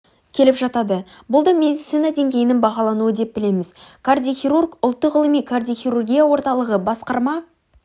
келіп жатады бұл да медицина деңгейінің бағалануы деп білеміз кардиохирург ұлттық ғылыми кардиохирургия орталығы басқарма